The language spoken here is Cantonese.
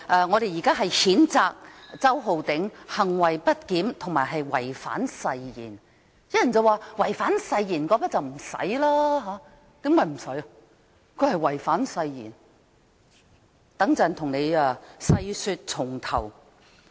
我們要譴責周浩鼎議員行為不檢及違反誓言，但有人說，違反誓言沒有需要被譴責；他真的違反了誓言，我稍後會為大家細說從頭。